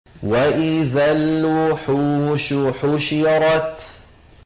وَإِذَا الْوُحُوشُ حُشِرَتْ